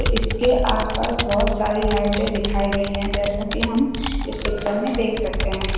इसके आसपास बहुत सारी लाइटें दिखाई गई हैं जैसा कि हम इस पिक्चर में देख सकते हैं।